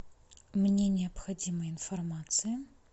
мне необходима информация